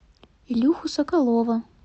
илюху соколова